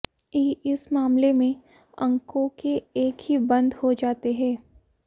ई इस मामले में अंकों के एक ही बंद हो जाते हैं